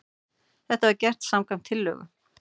Þetta var gert samkvæmt tillögu